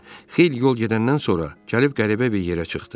Xeyli yol gedəndən sonra, gəlib qəribə bir yerə çıxdı.